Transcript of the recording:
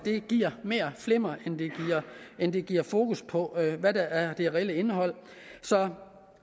giver mere flimmer end det giver fokus på hvad der er det reelle indhold så